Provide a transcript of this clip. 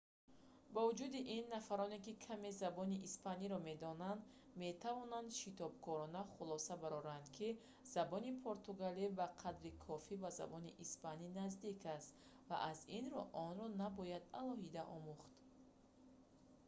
бо вуҷуди ин нафароне ки каме забони испаниро медонанд метавонанд шитобкорона хулоса бароранд ки забони португалӣ ба қадри кофӣ ба забони испанӣ наздик аст ва аз ин рӯ онро набояд алоҳида омӯхт